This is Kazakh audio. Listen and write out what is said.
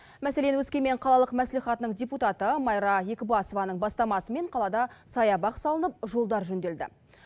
мәселен өскемен қалалық мәслихатының депутаты майра екібасованың бастамасымен қалада саябақ салынып жолдар жөнделді